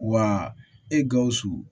Wa e gawusu